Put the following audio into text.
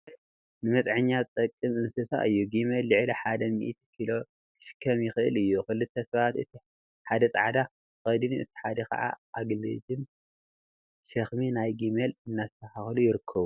ጊመል ንመፅዓኛ ዝጠቅመና እንስሳ እዩ፡፡ ጊመል ልዕሊ ሓደ ሚኢቲ ኪሎ ክሽከም ይክእል እዩ፡፡ ክልተ ሰባት እቲ ሓደ ፃዕዳ ተከዲኑ እቲ ሓደ ከዓ አገልድም/ሸክሚ ናይ ጊመል እናስተካከሉ ይርከቡ፡፡